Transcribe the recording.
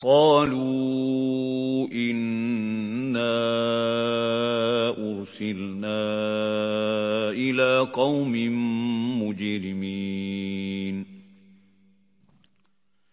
قَالُوا إِنَّا أُرْسِلْنَا إِلَىٰ قَوْمٍ مُّجْرِمِينَ